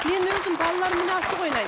мен өзім балаларыммен асық ойнаймын